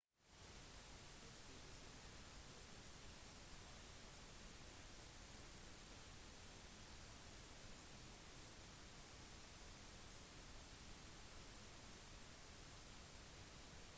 det ble senere rapportert at flyet fikk en bombetrussel og ble veiledet mot retur til afghanistan med landing i kandahar